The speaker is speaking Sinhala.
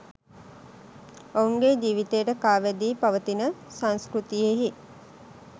ඔවුන්ගේ ජීවිතයට කා වැදී පවතින සංස්කෘතියෙහි